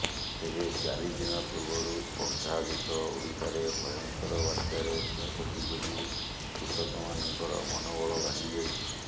ତେବେ ଚାରି ଦିନ ପୂର୍ବରୁ ଅର୍ଦ୍ଧାଧିକ ଓଡ଼ିଶାରେ ଭୟଙ୍କର ବାତ୍ୟାରେ କ୍ଷୟକ୍ଷତି ଯୋଗୁଁ କୃଷକମାନଙ୍କର ମନୋବଳ ଭାଙ୍ଗିଯାଇଛି